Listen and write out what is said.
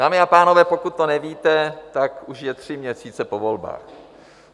Dámy a pánové, pokud to nevíte, tak už je tři měsíce po volbách.